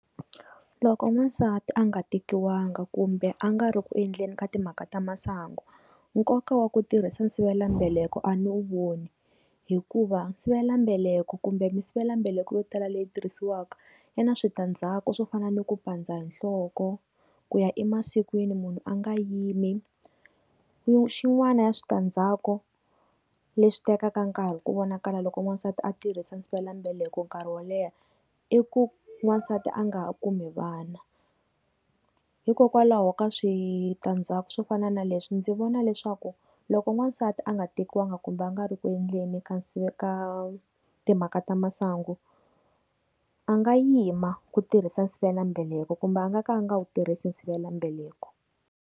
Loko n'wansati a nga tekiwanga kumbe a nga ri ku endleni ka timhaka ta masangu. Nkoka wa ku tirhisa sivelambeleko a ni wu voni. Hikuva sivelambeleko kumbe misivelambeleko yo tala leyi tirhisiwaka yi na switandzhaku swo fana ni ku pandza hi nhloko, ku ya emasikwini munhu a nga yimi, xin'wana ya switandzhaku leswi tekaka nkarhi ku vonakala loko n'wansati a tirhisa sivelambeleko nkarhi wo leha i ku n'wansati a nga kumi vana. Hikokwalaho ka switandzhaku swo fana na leswi ndzi vona leswaku, loko n'wansati a nga tekiwanga kumbe a nga ri ku endleni ka nsi ka timhaka ta masangu, a nga yima ku tirhisa sivelambeleko kumbe a nga ka a nga wu tirhisi sivelambeleko.